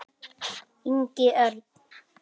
Ingi Örn.